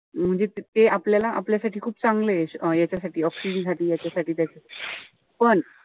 म्हणजे ते आपलं आपल्यासाठी खूप चांगलंय. याच्यासाठी oxygen याच्यासाठी ते. पण,